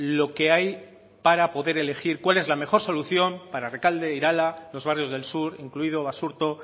lo que hay para poder elegir cuál es la mejor solución para rekalde irala los barrios del sur incluido basurto